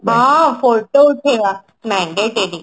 ହଁ photo ଉଠେଇବା mandatory